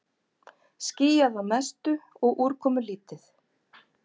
Skýjað að mestu og úrkomulítið